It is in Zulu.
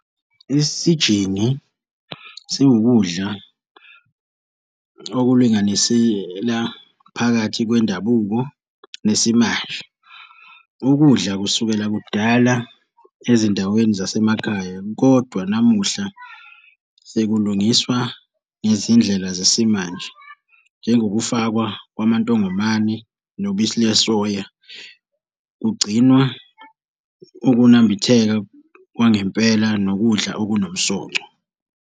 Isijingi siwukudla okulinganisela phakathi kwendabuko nesimanje. Ukudla kusukela kudala ezindaweni zasemakhaya kodwa namuhla sekulungiswa ngezindlela zesimanje. Njengokufakwa kwamantongomane nobisi lwesoya, kugcinwa ukunambitheka kwangempela nokudla okunomsoco.